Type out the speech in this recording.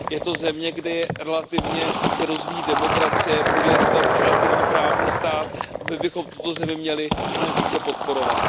Je to země, kde se relativně rozvíjí demokracie, buduje se tam relativní právní stát a my bychom tuto zemi měli mnohem více podporovat.